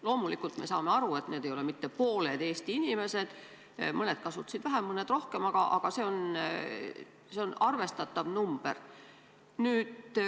Loomulikult me saame aru, et need ei ole mitte pooled Eesti inimesed, sest eks mõned kasutasid vähem, mõned rohkem, aga see on arvestatav arv.